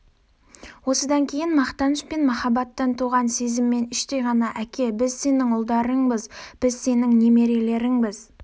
осыдан кейін мақтаныш пен махаббаттан туған сезіммен іштей ғана әке біз сенің ұлдарыңбыз біз сенің немерелеріңбіз